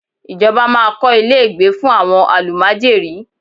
Ìjọba máa kọ́ ilé ìgbé fún àwọn àlùmájèrí.